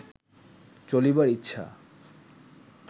চলিবার ইচ্ছা